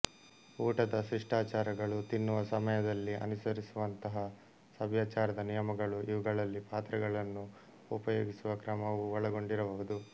ಊಟದ ಶಿಷ್ಟಾಚಾರಗಳು ತಿನ್ನುವ ಸಮಯದಲ್ಲಿ ಅನುಸರಿಸುವಂತಹ ಸಭ್ಯಾಚಾರದ ನಿಯಮಗಳು ಇವುಗಳಲ್ಲಿ ಪಾತ್ರೆಗಳನ್ನು ಉಪಯೋಗಿಸುವ ಕ್ರಮವೂ ಒಳ ಗೊಂಡಿರಬಹುದು